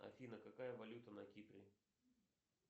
афина какая валюта на кипре